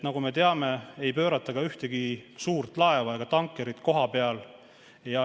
Nagu me teame, ei pöörata ka ühtegi suurt laeva ega tankerit kohapeal.